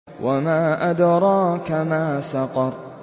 وَمَا أَدْرَاكَ مَا سَقَرُ